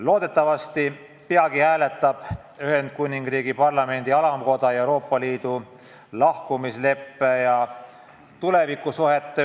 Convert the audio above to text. Loodetavasti peagi hääletab Ühendkuningriigi Parlamendi alamkoda Euroopa Liidust lahkumise lepet, mis otsustab tulevikusuhted.